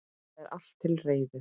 Það er allt til reiðu.